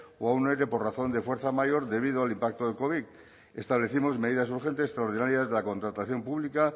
o a un ere por razón de fuerza mayor debido al impacto del covid establecimos medidas urgentes extraordinarias de la contratación pública